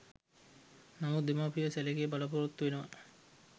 නමුත් දෙමව්පියෝ සැලකිලි බලාපොරොත්තු වෙනවා.